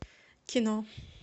кино